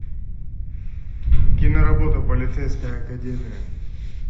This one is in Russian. киноработа полицейская академия